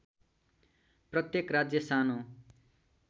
प्रत्येक राज्य सानो